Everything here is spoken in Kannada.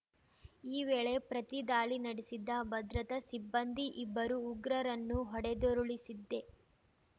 ಈ ವೇಳೆ ಪ್ರತಿದಾಳಿ ನಡೆಸಿದ ಭದ್ರತಾ ಸಿಬ್ಬಂದಿ ಇಬ್ಬರು ಉಗ್ರರನ್ನು ಹೊಡೆದುರುಳಿಸಿದ್ದೆ